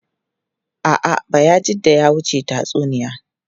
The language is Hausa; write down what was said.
A’a, Bayajidda ya wuce tatsuniya.